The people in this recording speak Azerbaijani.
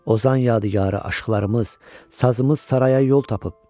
Ozan yadigarı aşıqlarımız, sazımız saraya yol tapıb.